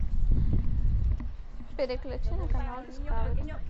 переключи на канал дискавери